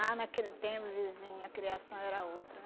Ah, naquele tempo, vizinha, a criação era outra.